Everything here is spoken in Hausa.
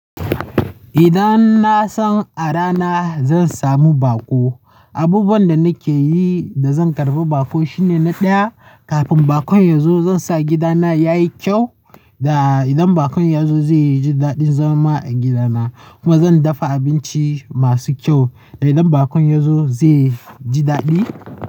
Idan na san a rana zan samu baƙo, abubuwan da nake yi da zan karbi baƙo shine na ɗaya kafin bakon yazo zan sa gidana yayi kyau. Da idan bakon yazo zai ji daɗin zama a gidana. Kuma zan dafa abinci masu kyau. Da idan bakon yazo zai ji daɗi.